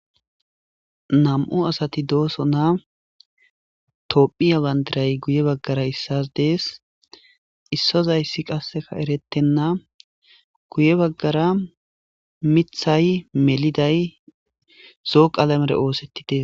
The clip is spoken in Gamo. Nam'u asati dosona tophiya bandiray guye baggra issas des issozayssi qase eretena guye baggara miththay meliday zo'o qalamera ootheti dees.